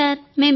అవును సార్